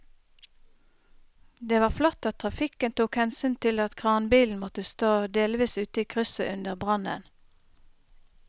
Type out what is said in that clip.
Det var flott at trafikken tok hensyn til at kranbilen måtte stå delvis ute i krysset under brannen.